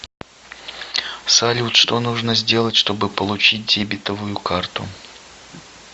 салют что нужно сделать чтобы получить дебитовую карту